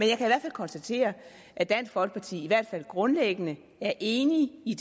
konstatere at dansk folkeparti i hvert fald grundlæggende er enige i